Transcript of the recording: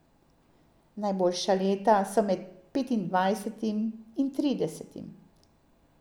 Najboljša leta so med petindvajsetim in tridesetim.